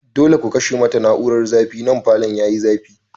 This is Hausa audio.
Dole ku kashe mata na'urar zafi nan, falon yayi zafi.